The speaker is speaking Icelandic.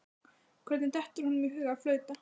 Hvernig dettur honum í hug að flauta?